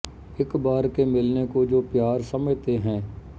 ਇੱਕ ਬਾਰ ਕੇ ਮਿਲਨੇ ਕੋ ਜੋ ਪਿਆਰ ਸਮਝਤੇ ਹੈਂ